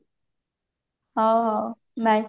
ହଉ ହଉ bye